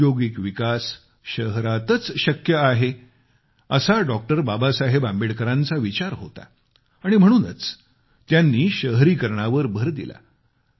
औद्योगिक विकास शहरातच शक्य आहे असा डॉ बाबासाहेब आंबेडकर यांचा विचार होता आणि म्हणूनच त्यांनी शहरीकरणावर भर दिला